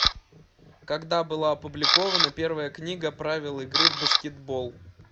когда была опубликована первая книга правил игры в баскетбол